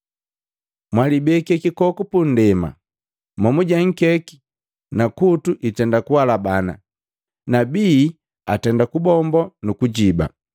“Mwalibeke kikoku pundema, momuje nkeki na kutu itenda kuhalabana na bii atenda kubombo nuku kujiba.